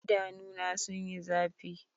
Idanuna sun yi zafi.